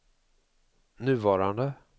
nuvarande